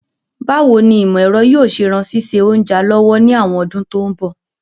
Báwoni ìmọ̀ èro yio se ran síse ounja lọ́wọ́ ni àwon odún to n bọ̀